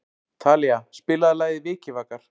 Talía, spilaðu lagið „Vikivakar“.